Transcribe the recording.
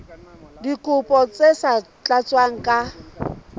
dikopo tse sa tlatswang ka